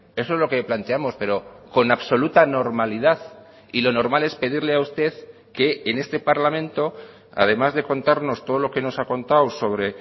eso es lo que planteamos pero con absoluta normalidad y lo normal es pedirle a usted que en este parlamento además de contarnos todo lo que nos ha contado sobre